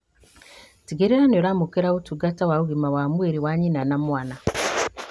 Tigĩrĩra nĩũramũkĩra ũtungata wa ũgima wa mwĩrĩ wa nyina na mwana